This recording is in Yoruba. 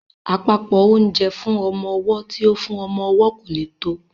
Àpòpọ́ oúnjẹ fún ọmọ ọwọ́ tí ó fún ọmọ owó kò lè tó